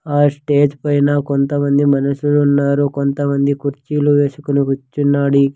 ఆ స్టేజ్ పైన కొంతమంది మనుషులు ఉన్నారు కొంతమంది కుర్చీలు వేసుకుని కూర్చున్నాడు ఈ.